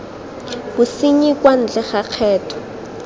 bosenyi kwa ntle ga kgetho